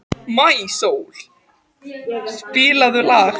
Maísól, spilaðu lag.